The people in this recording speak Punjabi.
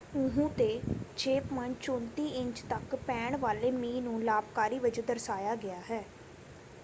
ਉਅਹੁ 'ਤੇ 6.34 ਇੰਚ ਤੱਕ ਪੈਣ ਵਾਲੇ ਮੀਂਹ ਨੂੰ ਲਾਭਕਾਰੀ ਵਜੋਂ ਦਰਸਾਇਆ ਗਿਆ ਹੈ।